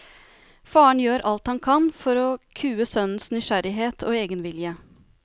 Faren gjør alt han kan for å kue sønnens nysgjerrighet og egenvilje.